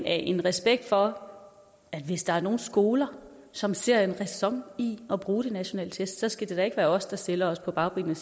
af en respekt for at hvis der er nogle skoler som ser at der er ræson i at bruge de nationale test så skal det da ikke være os der stiller os på bagbenene og